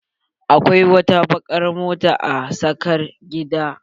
Akwai wata bakar mota a sakar gidan.